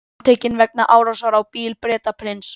Handtekinn vegna árásar á bíl Bretaprins